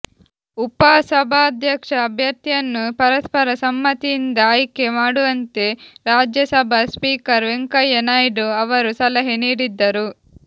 ಉಪಸಭಾಧ್ಯಕ್ಷ ಅಭ್ಯರ್ಥಿಯನ್ನು ಪರಸ್ಪರ ಸಮ್ಮತಿಯಿಂದ ಆಯ್ಕೆ ಮಾಡುವಂತೆ ರಾಜ್ಯಸಭಾ ಸ್ಪೀಕರ್ ವೆಂಕಯ್ಯ ನಾಯ್ಡು ಅವರು ಸಲಹೆ ನೀಡಿದ್ದರು